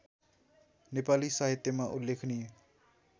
नेपाली साहित्यमा उल्लेखनीय